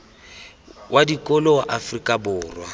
wa dikolo wa afrika borwa